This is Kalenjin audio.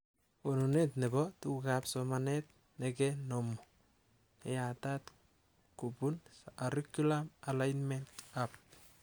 Konunet nebo tugukab somanet nekenomu neyatat kubun Cirriculum Alignment Hub